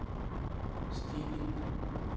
stigning